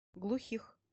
глухих